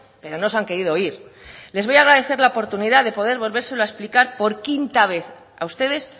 pero no se han querido oír les voy a agradecer la oportunidad de poder volvérselo a explicar por quinta vez a ustedes